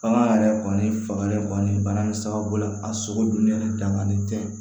Bagan yɛrɛ kɔni fanga yɛrɛ kɔni bana in sababu la a sogo dunnen danganen tɛ